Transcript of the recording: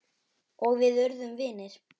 Og við urðum vinir.